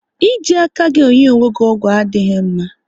Ị ji aka gị enye onwe gị ọgwụ adịghị mma